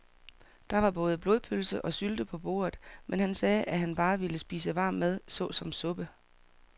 Der var både blodpølse og sylte på bordet, men han sagde, at han bare ville spise varm mad såsom suppe.